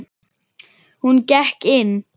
Hún gekk inn.